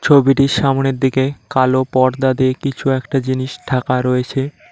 ছবিটির সামনের দিকে কালো পর্দা দিয়ে কিছু একটা জিনিষ ঢাকা রয়েছে।